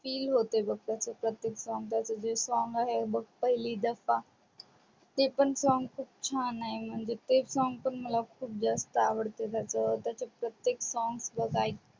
feel होते बग त्याच प्रत्येक song त्याच song आहे बघ पहली दफा ते पण song खूप छान आहे ते song पण मला खूप जास्त आवडत त्याच्यात प्रत्येक song